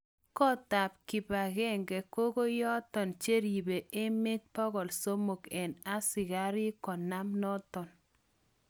Kot ap kipangenge kokoyaton cheripe emet 300 eng askarik konam naton